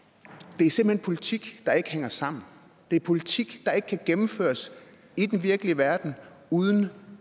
det er simpelt hen politik der ikke hænger sammen det er politik der ikke kan gennemføres i den virkelige verden uden